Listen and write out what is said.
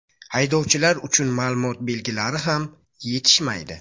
Haydovchilar uchun ma’lumot belgilari ham yetishmaydi.